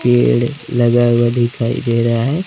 पेड़ लगा हुआ दिखाई दे रहा है।